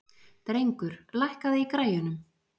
Drengur, lækkaðu í græjunum.